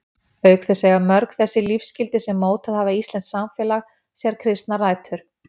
Auk þess eiga mörg þau lífsgildi sem mótað hafa íslenskt samfélag sér kristnar rætur.